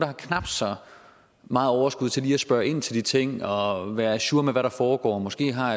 har knap så meget overskud til lige at spørge ind til de ting og være ajour med hvad der foregår måske har